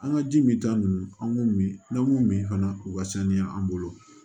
An ka ji min ta nun an b'u min n'an m'u min fana u ka saniya an bolo